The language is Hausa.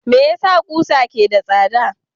Me yasa kusa take tsada?